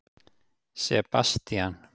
Sebastían